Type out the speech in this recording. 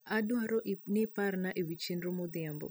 adwaro niiparna ewi chenro modhiambo